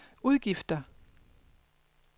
udgifter